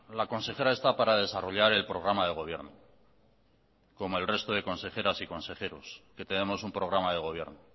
la consejera está para desarrollar el programa de gobierno como el resto de consejeras y consejeros que tenemos un programa de gobierno